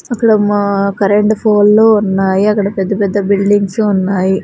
అక్కడ మ కరెంటు పోల్లు ఉన్నాయి అక్కడ పెద్ద పెద్ద బిల్డింగ్స్ ఉన్నాయి.